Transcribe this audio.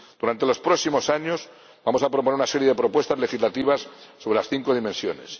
Durante los próximos años, vamos a proponer una serie de propuestas legislativas sobre las cinco dimensiones.